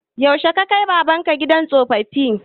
Yaushe ka kai baban ka gidan tsoffi?